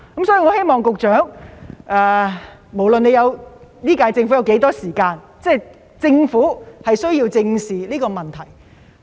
所以，局長，無論今屆政府還有多少時間，也需要正視這個問題。